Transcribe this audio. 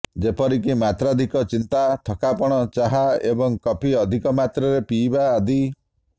ଯେପରିକି ମାତ୍ରାଧିକ ଚିନ୍ତା ଥକାପଣ ଚାହା ଏବଂ କଫି ଅଧିକ ମାତ୍ରାରେ ପିଇବା ଆଦି